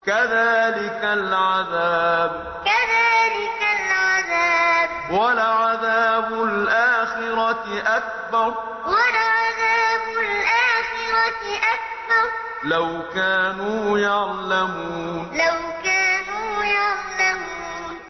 كَذَٰلِكَ الْعَذَابُ ۖ وَلَعَذَابُ الْآخِرَةِ أَكْبَرُ ۚ لَوْ كَانُوا يَعْلَمُونَ كَذَٰلِكَ الْعَذَابُ ۖ وَلَعَذَابُ الْآخِرَةِ أَكْبَرُ ۚ لَوْ كَانُوا يَعْلَمُونَ